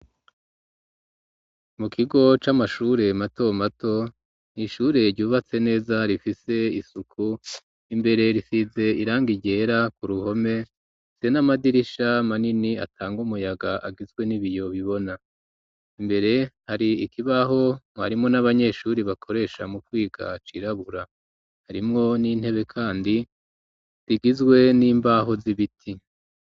Mu kigo c'amashure mato mato n'ishure ryubatse neza rifise isuku imbere risize irangi ryera ku ruhome hari n'amadirisha manini atanga umuyaga agizwe n'ibiyo bibona mbere hari ikibaho mwarimu n'abanyeshuri bakoresha mu kwiga c'irabura harimwo n'intebe kandi rigizwe n'imbaho z'ibiti.